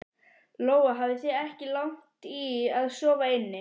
Lóa: Þið hafið ekki lagt í að sofa inni?